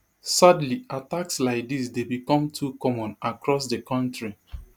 sadly attacks like dis dey become too common across di kontri